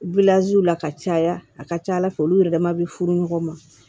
la ka caya a ka ca ala fɛ olu yɛrɛ dama be furu ɲɔgɔn ma